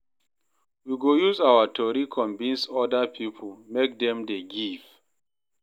We go use our story convince oda pipo make dem dey give.